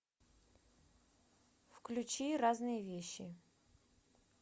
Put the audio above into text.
включи разные вещи